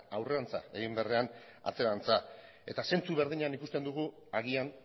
hau da aurrerantza egin beharrean atzerantza eta zentzu berdinean ikusten dugu agian